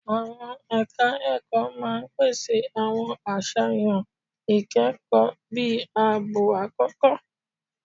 Àwọn ẹ̀ka ẹ̀kọ́ máa pèsè àwọn àṣàyàn ìkẹ́kọ̀ọ́ bíi ààbọ̀ àkókò.